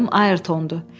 Adım Ayrtondur.